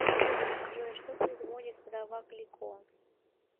джой что производит вдова клико